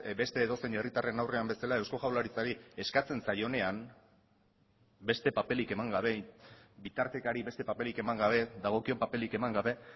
beste edozein herritarren aurrean bezala eusko jaurlaritzari eskatzen zaionean beste paperik eman gabe bitartekari beste paperik eman gabe dagokion paperik eman gabe